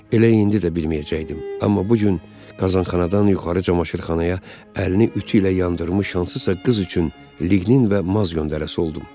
Elə indi də bilməyəcəkdim, amma bu gün qazxanadan yuxarı camaşırxanaya əlini ütü ilə yandırmış hansısa qız üçün liqnin və maz göndərəsi oldum.